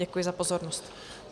Děkuji za pozornost.